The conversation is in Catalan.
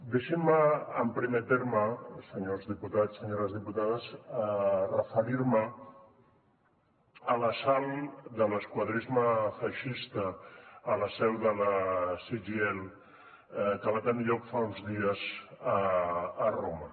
deixin me en primer terme senyors diputats senyores diputades referir me a l’assalt de l’esquadrisme feixista a la seu de la cgil que va tenir lloc fa uns dies a roma